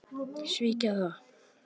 Svíkja það.